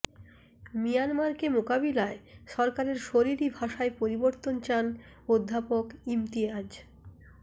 মিয়ানমারকে মোকাবিলায় সরকারের শরীরি ভাষায় পরিবর্তন চান অধ্যাপক ইমতিয়াজ